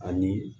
Ani